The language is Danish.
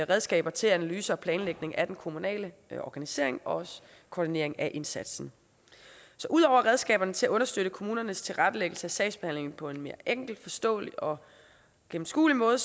redskaber til analyse og planlægning af den kommunale organisering og koordinering af indsatsen så ud over redskaberne til at understøtte kommunernes tilrettelæggelse af sagsbehandlingen på en mere enkel forståelig og gennemskuelig måde